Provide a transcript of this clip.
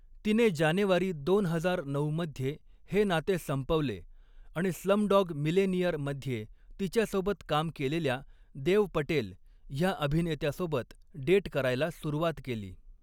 तिने जानेवारी दोन हजार नऊ मध्ये हे नाते संपवले आणि स्लमडॉग मिलेनियर मध्ये तिच्यासोबत काम केलेल्या देव पटेल ह्या अभिनेत्यासोबत डेट करायला सुरुवात केली.